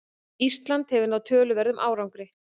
Ísland hefur náð töluverðum árangri